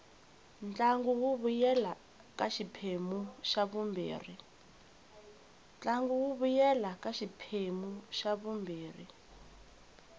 ntlangu wu vuyela ka xiphemu xa vumbirhi